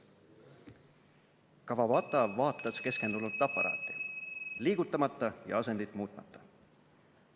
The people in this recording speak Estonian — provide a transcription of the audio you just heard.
Kawabata vaatas keskendunult aparaati, liigutamata ja asendit muutmata.